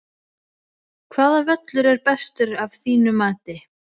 Hvaða völlur er bestur af þínu mati?